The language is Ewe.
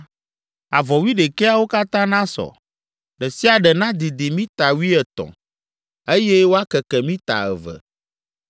Avɔ wuiɖekɛawo katã nasɔ; ɖe sia ɖe nadidi mita wuietɔ̃, eye wòakeke mita eve.